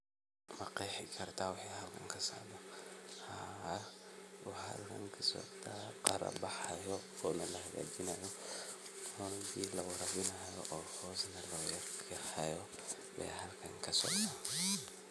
Ma qeexi kartaa waxa halkan kasocdaa haa waxaa halkan kasocdaa qaaro baxaayo oo na lahagajinaayo oo na biiyo lawarabinaayo oo hoos na lagaa deehayo ba halkan kasocdaa.